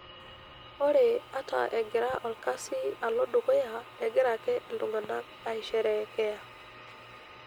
Ore ata egira olkasi alo dukuya, egira ake iltung'ana aisherekea.